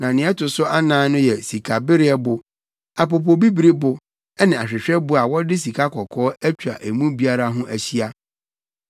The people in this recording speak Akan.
na nea ɛto so anan no yɛ sikabereɛbo, apopobibiribo ne ahwehwɛbo a wɔde sikakɔkɔɔ atwa emu biara ho ahyia.